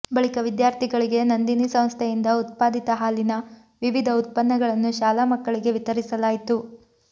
ಬಳಿಕ ವಿದ್ಯಾರ್ಥಿಗಳಿಗೆ ನಂದಿನಿ ಸಂಸ್ಥೆಯಿಂದ ಉತ್ಪಾದಿತ ಹಾಲಿನ ವಿವಿಧ ಉತ್ಪನ್ನಗಳನ್ನು ಶಾಲಾ ಮಕ್ಕಳಿಗೆ ವಿತರಿಸಲಾಯಿತು